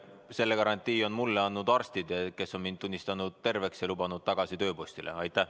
Selle garantii on mulle andnud arstid, kes on mind terveks tunnistanud ja lubanud tagasi tööpostile.